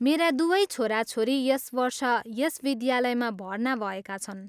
मेरा दुवै छोराछोरी यस वर्ष यस विद्यालयमा भर्ना भएका छन्।